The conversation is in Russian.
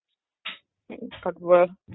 как бы